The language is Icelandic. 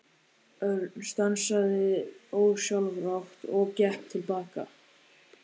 Örn stansaði ósjálfrátt og gekk til baka.